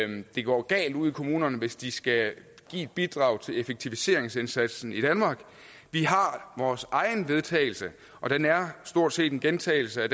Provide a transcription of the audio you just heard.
det går galt ude i kommunerne hvis de skal give et bidrag til effektiviseringsindsatsen i danmark vi har vores eget vedtagelse og det er stort set en gentagelse af